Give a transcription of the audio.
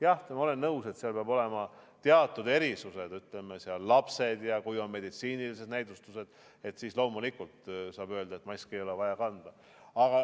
Jah, ma olen nõus, et seal peavad olema teatud erisused, näiteks lapsed ja kui on meditsiinilised näidustused – siis loomulikult saab öelda, et maski ei ole vaja kanda.